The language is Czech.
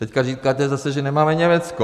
Teď říkáte zase, že nemáme Německo.